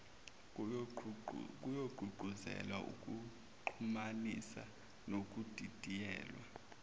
kuyogqugquzela ukuxhumanisa nokudidiyelwa